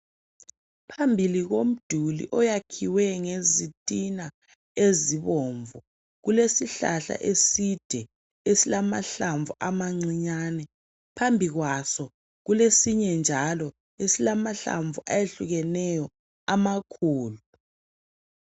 Phambili komduli oyakhiwe ngezitina ezibomvu kulesihlahla eside esilamahlamvu amancinyane phambi kwaso kulesinye njalo esilamahlamvu ayehlukeneyo amakhulu